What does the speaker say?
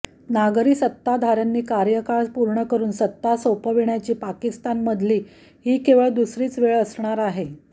नागरी सत्ताधाऱ्यांनी कार्यकाळ पूर्ण करून सत्ता सोपवण्याची पाकिस्तानमधली ही केवळ दुसरीच वेळ असणार आहे